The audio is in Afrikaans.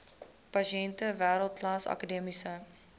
pasiënte wêreldklas akademiese